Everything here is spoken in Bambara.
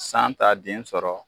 San t'a den sɔrɔ.